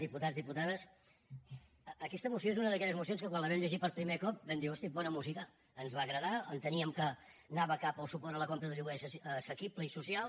diputats diputades aquesta moció és una d’aquelles mocions que quan la vam llegir per primer cop vam dir hosti bona música ens va agradar enteníem que anava cap a un suport a la compra de lloguer assequible i social